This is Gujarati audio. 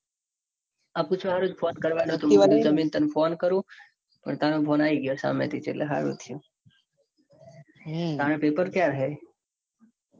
આજે phone કરવાનો હતો. હું જમીને તને phone કરું. પણ તારો phone આવી ગયો. સામેથી એટલે હારું થયું. તારે પેપર ક્યાં આવ્યું.